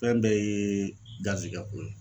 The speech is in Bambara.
Fɛn bɛɛ yee garizigɛ ko ye